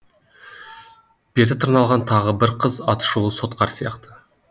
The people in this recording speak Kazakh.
беті тырналған тағы бір қыз атышулы сотқар сияқты